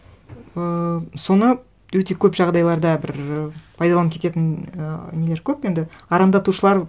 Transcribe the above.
ыыы соны өте көп жағдайларда бір пайдаланып кететін і нелер көп енді арандатушылар